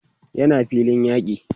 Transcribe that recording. yana filin yaki